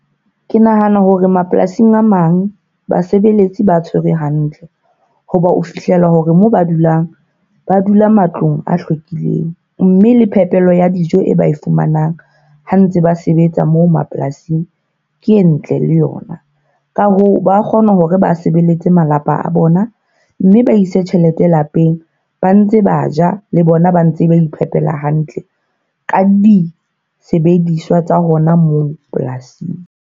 Ke nahana hore mapolasing a mang, basebeletsi ba tshwerwe hantle. Ho ba o fihlela hore moo ba dulang, ba dula matlong a hlwekileng. Mme le phepelo ya dijo e ba e fumanang ha ntse ba sebetsa moo mapolasing, ke e ntle le yona. Ka hoo, ba kgona hore ba sebeletse malapa a bona mme ba ise tjhelete lapeng, ba ntse ba ja le bona ba ntse ba iphehela hantle ka disebediswa tsa hona moo polasing.